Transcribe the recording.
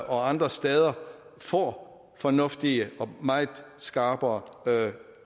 og andre steder får fornuftige og meget skarpere